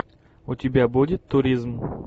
у тебя будет туризм